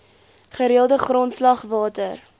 gereelde grondslag water